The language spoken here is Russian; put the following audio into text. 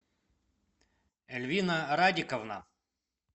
эльвина радиковна